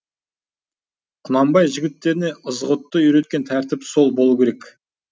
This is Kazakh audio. құнанбай жігіттеріне ызғұтты үйреткен тәртіп сол болу керек